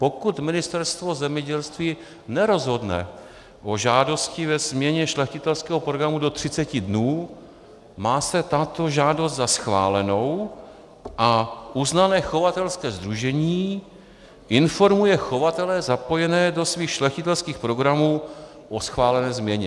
Pokud Ministerstvo zemědělství nerozhodne o žádosti ve změně šlechtitelského programu do 30 dnů, má se tato žádost za schválenou a uznané chovatelské sdružení informuje chovatele zapojené do svých šlechtitelských programů o schválené změně.